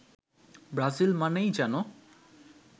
Brazil মানেই যেন